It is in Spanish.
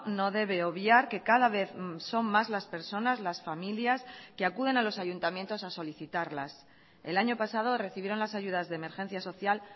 no debe obviar que cada vez son más las personas las familias que acuden a los ayuntamientos a solicitarlas el año pasado recibieron las ayudas de emergencia social